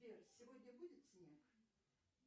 сбер сегодня будет снег